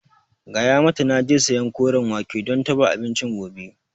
Gaya mata naje sayan Koren wake don dafa abincin gobe